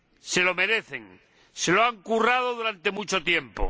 Se lo merecen, se lo han currado durante mucho tiempo.